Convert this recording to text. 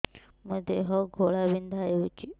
ମୋ ଦେହ ଘୋଳାବିନ୍ଧା ହେଉଛି